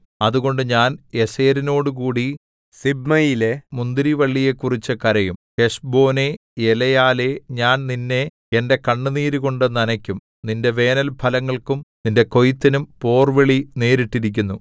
അതുകൊണ്ട് ഞാൻ യസേരിനോടുകൂടി സിബ്മയിലെ മുന്തിരിവള്ളിയെക്കുറിച്ചു കരയും ഹെശ്ബോനേ എലെയാലേ ഞാൻ നിന്നെ എന്റെ കണ്ണുനീരുകൊണ്ടു നനയ്ക്കും നിന്റെ വേനൽഫലങ്ങൾക്കും നിന്റെ കൊയ്ത്തിനും പോർവിളി നേരിട്ടിരിക്കുന്നു